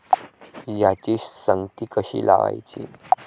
याची संगती कशी लावायची?